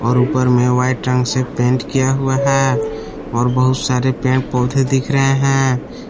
और ऊपर मे व्हाइट रंग से पेंट किया हुआ है और बहुत सारे पेड़ पौधे दिख रहे हैं।